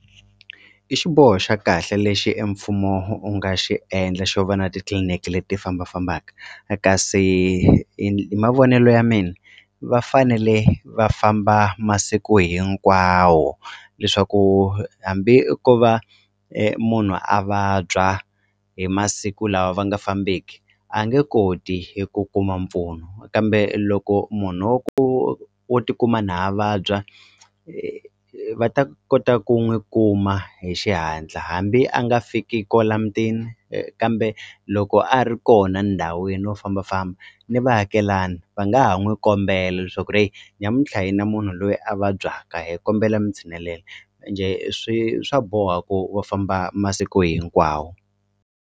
I xiboho xa kahle lexi emfumo u nga xi endla xo va na titliliniki leti ti fambafambaka kasi hi mavonelo ya mina va fanele va famba masiku hinkwawo leswaku hambi ko va munhu a vabya hi masiku lawa va nga fambeki a nge koti eku kuma mpfuno kambe loko munhu wa ku wo tikuma na a vabya va ta kota ku n'wi kuma hi xihatla hambi a nga fiki kwala mutini kambe loko a ri kona ndhawini wa fambafamba ni vaakelani va nga ha n'wi kombela leswaku ri heyi nyamuntlha hini na munhu loyi a vabyaka hi kombela mi tshinelela ende swi swa boha ku va famba masiku hinkwawo.